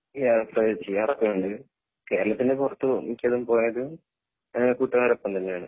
ആഹ് ചെയ്യാറൊക്കെ ഉണ്ട് കേരളത്തിൻ്റെ പൊറത്ത് മിക്കതും പോയത് കൂട്ടുകാരെ ഒപ്പം തന്നെയാണ്